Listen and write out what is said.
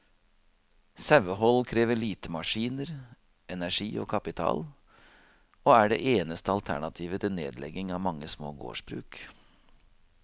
Sauehold krever lite maskiner, energi og kapital, og er det eneste alternativet til nedlegging av mange små gårdsbruk.